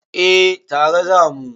Eh tare za mu.